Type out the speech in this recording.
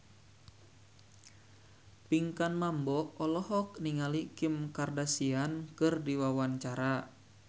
Pinkan Mambo olohok ningali Kim Kardashian keur diwawancara